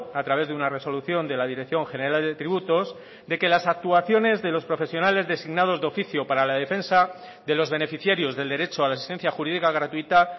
a través de una resolución de la dirección general de tributos de que las actuaciones de los profesionales designados de oficio para la defensa de los beneficiarios del derecho a la asistencia jurídica gratuita